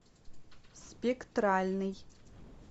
спектральный